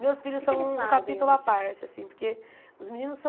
Meus filhos são O que é que eles fazem hoje Um capítulo à parte, assim, porque os meninos são...